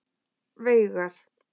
Veigar